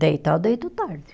Deitar, eu deito tarde.